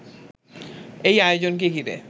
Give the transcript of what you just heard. এই আয়োজনকে ঘিরে